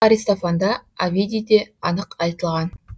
бұл аристофанда овидийде анық айтылған